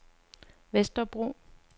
Vesterbro